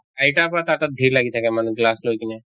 আইতাৰ পৰা কাকাক ভিৰ লাগি থাকে মানুহ glass লৈ কিনে